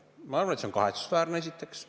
Ma arvan, et see on kahetsusväärne, esiteks.